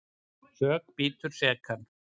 Sök bítur sekan.